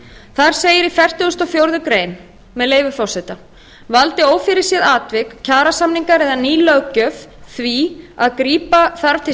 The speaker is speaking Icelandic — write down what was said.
segir í fertugustu og fjórðu grein með leyfi forseta valdi ófyrirséð atvik kjarasamningar eða ný löggjöf því að grípa þarf